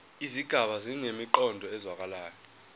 izigaba zinemiqondo ezwakalayo